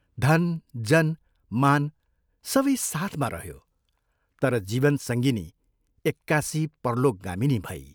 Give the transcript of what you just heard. धन, जन, मान, सबै साथमा रह्यो तर जीवन सङ्गिनी एक्कासि परलोकगामिनी भई।